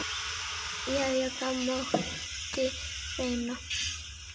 Jæja, það mátti reyna.